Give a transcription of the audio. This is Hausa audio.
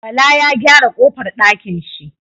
Bala Ya gyara kofar dakin shi